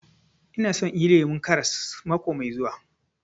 Ina so inyi lemun karas mako mai zuwa